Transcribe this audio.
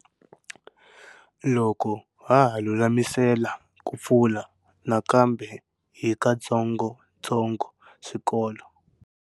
Loko ha ha lulamisela ku pfula nakambe hi katsongotsongo swikolo.